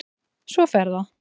Svo fer það.